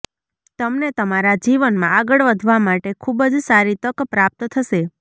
તમને તમારા જીવનમાં આગળ વધવા માટે ખુબ જ સારી તક પ્રાપ્ત થશે